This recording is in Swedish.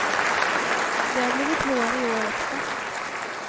Det har blivit vår i år också.